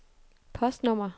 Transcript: postnummer